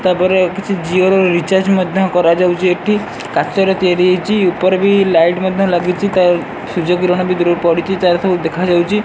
ତା ପରେ କିଛି ଝିଅର ରିଚାର୍ଜ ମଧ୍ୟ କରାଯାଉଚି ଏଠି କାଚରେ ତିଆରି ହେଇଚି ଉପରେ ବି ଲାଇଟ୍ ମଧ୍ୟ ଲାଗିଚି ତାର୍ ସୂର୍ଯ୍ୟ କିରଣ ବି ଦୁରୁରୁ ପଡ଼ିଚି ତାର ସବୁ ଦେଖାଯାଉଚି।